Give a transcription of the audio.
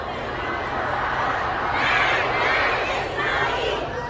Ləbbeyk, Ya Hüseyn! Ləbbeyk, Ya Hüseyn!